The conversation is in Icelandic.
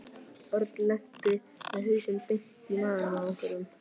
Örn lenti með hausinn beint í magann á einhverjum.